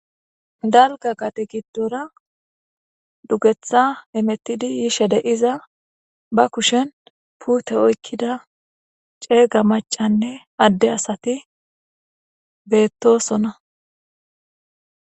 Dalga gade gidora dugetha hemutidi yishe de, iza ba kushen pute okida cega macane are asati betosona